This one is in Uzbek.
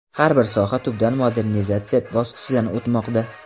Har bir soha tubdan modernizatsiya bosqichidan o‘tmoqda.